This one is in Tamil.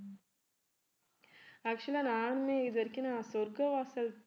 actual ஆ நானுமே இது வரைக்கும் நான் சொர்க்க வாசல்